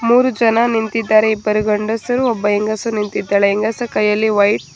ಮೂರು ಜನ ನಿಂತಿದ್ದಾರೆ ಇಬ್ಬರು ಗಂಡಸರು ಒಬ್ಬ ಹೆಂಗಸು ನಿಂತಿದ್ದಾಳೆ ಹೆಂಗಸು ಕೈಯಲ್ಲಿ ವೈಟ್ --